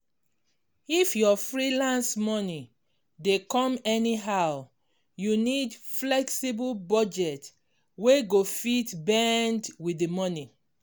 if your freelance money dey come anyhow you need flexible budget wey go fit bend with the money.